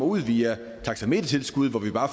ud via taxametertilskud hvor vi bare